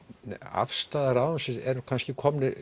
afstaða ráðuneytisins er kannski